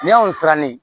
Ni y'an siran ne ye